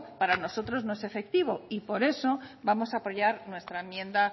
para nosotros no es efectivo por eso vamos a poyar nuestra enmienda